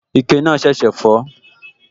Ike náà ṣẹ̀ṣẹ̀ fọ́